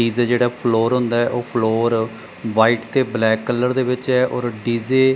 DJ ਜਿਹੜਾ floor ਹੁੰਦਾ ਉਹ ਫਲੋਰ ਵ੍ਹਾਈਟ ਤੇ ਬਲੈਕ ਕਲਰ ਦੇ ਵਿੱਚ ਆ ਔਰ ਡੀ_ਜੇ --